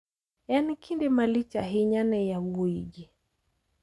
En kinde malich ahinya ne yawuoyigi.